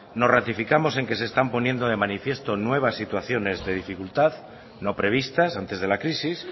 nos ratificamos en que se están poniendo de manifiesto nuevas situaciones de dificultad no previstas antes de la crisis